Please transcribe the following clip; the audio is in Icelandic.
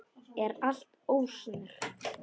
Er allt ósnert?